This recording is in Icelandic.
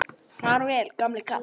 Opinber skipti